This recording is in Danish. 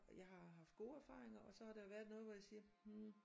Og jeg har haft gode erfaringer og så har der været nogte hvor jeg siger hm